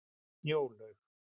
Snjólaug